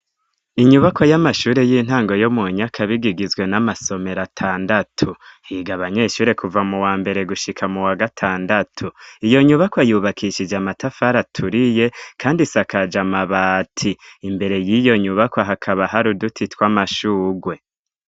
Inyubako y'amashure y'intango yo mu Nyakabiga igizwe n'amasomero atandatu, higa abanyeshure kuva muwa mbere gushika mu wa gatandatu, iyo nyubakwa yubakishije amatafari aturiye kandi isakaje amabati, imbere yiyo nyubakwa hakaba hari uduti twamashurwe.